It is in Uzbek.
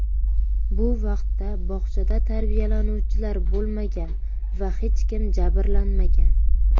Bu vaqtda bog‘chada tarbiyalanuvchilar bo‘lmagan va hech kim jabrlanmagan.